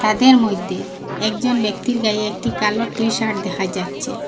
তাদের মইধ্যে একজন ব্যক্তির গায়ে একটি কালো টি-শার্ট দেখা যাচ্ছে।